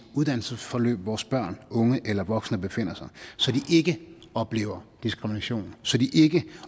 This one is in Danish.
uddannelsesforløb vores børn unge eller voksne befinder sig så de ikke oplever diskrimination så de ikke